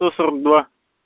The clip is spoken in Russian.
сто сорок два